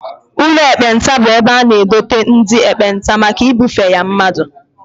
Ụlọ ekpenta bụ ebe a na-edote ndị ekpenta maka ibufe ya mmadụ